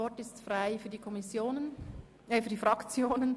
Wir kommen zu den Fraktionsvoten.